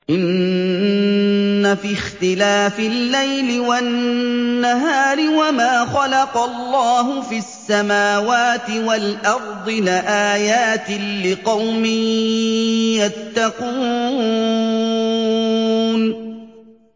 إِنَّ فِي اخْتِلَافِ اللَّيْلِ وَالنَّهَارِ وَمَا خَلَقَ اللَّهُ فِي السَّمَاوَاتِ وَالْأَرْضِ لَآيَاتٍ لِّقَوْمٍ يَتَّقُونَ